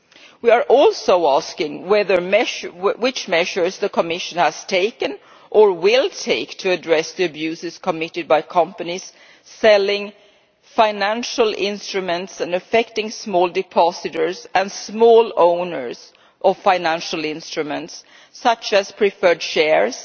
We are also asking what measures the Commission has taken or will take to address the abuses committed by companies selling financial instruments that affect small depositors and small owners of financial instruments such as preferred shares,